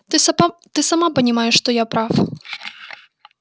ты сама понимаешь что я прав